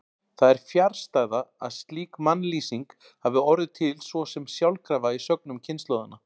Það er fjarstæða að slík mannlýsing hafi orðið til svo sem sjálfkrafa í sögnum kynslóðanna.